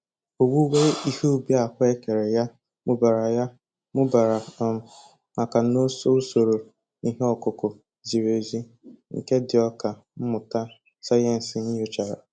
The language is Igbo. Owuwe ihe ubi ahụekere ya mụbara ya mụbara um maka n'oso usoro ihe ọkụkụ ziri ezi nke ndị ọkà mmụta sayensị nyochara